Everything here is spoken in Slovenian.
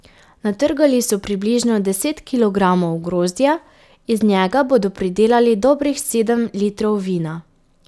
Natrgali so približno deset kilogramov grozdja, iz njega bodo pridelali dobrih sedem litrov vina.